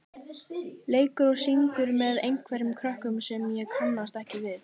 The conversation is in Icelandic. leikur og syngur með einhverjum krökkum sem ég kannast ekki við.